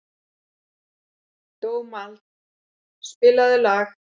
Dómald, spilaðu lag.